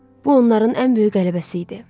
Bu onların ən böyük qələbəsi idi.